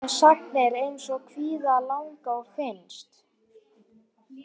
Þannig er til dæmis með sagnir eins og kvíða, langa og finnast.